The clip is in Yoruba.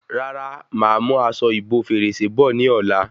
Rárá, máa mú aṣọ ìbo fèrèsé bọ̀ ní ọ̀la